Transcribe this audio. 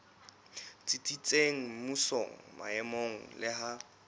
tsitsitseng mmusong maemong le ha